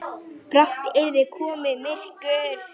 Brátt yrði komið myrkur.